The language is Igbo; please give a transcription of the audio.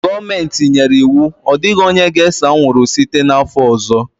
Gọọmenti nyere iwu, Ọ dịghị onye ga-ese anwụrụ! site n'afọ ọzọ